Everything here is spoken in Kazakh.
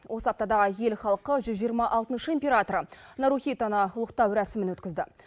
осы аптада ел халқы жүз жиырма алтыншы императоры нарухитоны ұлықтау рәсімін өткізді